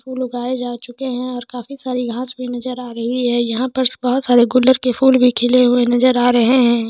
चलो गाइस आ चूके है और काफी सारी घाँस नज़र आरही हैयह पर बहुत सारे गुलाब के फूल बी खिले हुये नज़र आरहे है।